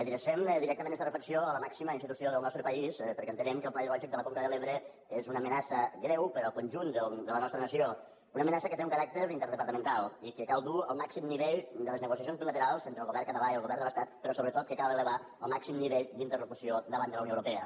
adrecem directament esta reflexió a la màxima institució del nostre país perquè entenem que el pla hidrològic de la conca de l’ebre és una amenaça greu per al conjunt de la nostra nació una amenaça que té un caràcter interdepartamental i que cal dur al màxim nivell de les negociacions bilaterals entre el govern català i el govern de l’estat però sobretot que cal elevar al màxim nivell d’interlocució davant de la unió europea